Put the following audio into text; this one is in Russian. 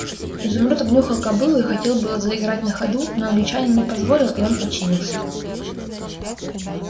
изумруд обнюхал кобылу и хотел было заиграть на ходу но англичанин не позволил и он подчинился